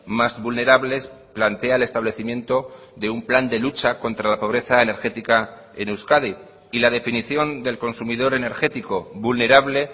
más vulnerables plantea el establecimiento de un plan de lucha contra la pobreza energética en euskadi y la definición del consumidor energético vulnerable